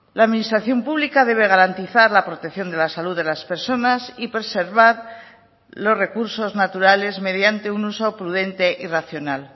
la administración pública debe garantizar la protección de la salud de las personas y preservar los recursos naturales mediante un uso prudente y racional